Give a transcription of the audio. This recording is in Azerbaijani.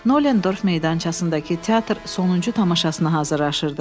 Nolendorf meydançasındakı teatr sonuncu tamaşasına hazırlaşırdı.